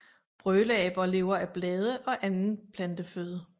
Brøleaber lever af blade og anden planteføde